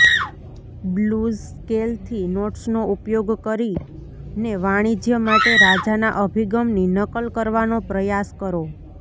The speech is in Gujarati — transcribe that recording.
બ્લૂઝ સ્કેલથી નોટ્સનો ઉપયોગ કરીને વાણિજ્ય માટે રાજાના અભિગમની નકલ કરવાનો પ્રયાસ કરો